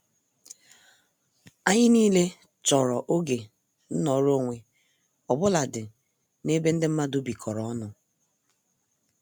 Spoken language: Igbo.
Anyị nile chọrọ oge nọrọ onwe obuladi n' ebe ndị mmadụ bikoro ọnụ.